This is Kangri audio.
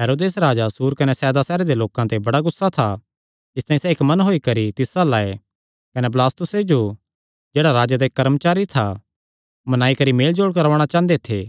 हेरोदेस राजा सूर कने सैदा सैहरे दे लोकां ते बड़ा गुस्सा था इसतांई सैह़ इक्क मन होई करी तिस अल्ल आये कने बलास्तुसे जो जेह्ड़ा राजे दा इक्क कर्मचारी था मनाई करी मेलजोल करवाणा चांह़दे थे